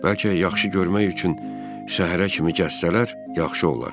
Bəlkə yaxşı görmək üçün səhərə kimi gəzsələr, yaxşı olar.